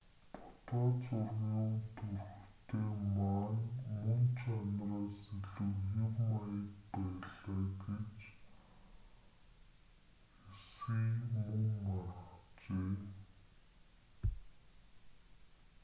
фото зургийн төрхтэй ма нь мөн чанараас илүү хэв маяг байлаа гэж хсие мөн маргажээ